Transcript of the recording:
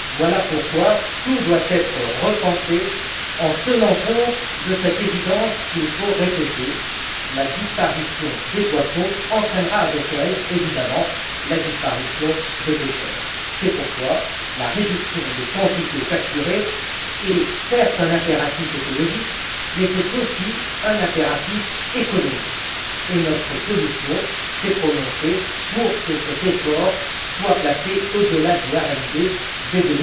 Voilà pourquoi tout doit être repensé, en tenant compte de cette évidence qu'il faut répéter la disparition des poissons entraînera forcément avec elle la disparition des pêcheurs. C'est pourquoi la réduction des quantités capturées est certes un impératif écologique, mais c'est aussi un impératif économique. Notre commission s'est prononcée pour que cet effort soit placé au delà du RMD dès